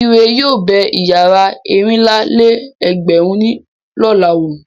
Ire yóò bẹ ìyàrá ẹ̀rìnlá-lé-ẹgbẹ̀rún ní lọ̀la wò.